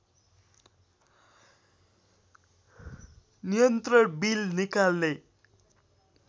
नियन्त्रण बिल निकाल्ने